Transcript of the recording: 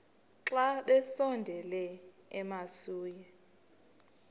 xa besondela emasuie